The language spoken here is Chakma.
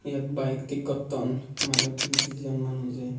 eyot bike tik gotton manuch dijon manujey.